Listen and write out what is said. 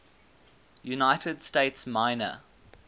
united states minor